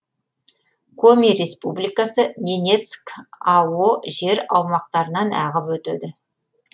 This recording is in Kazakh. коми республикасы ненецк ао жер аумақтарынан ағып өтеді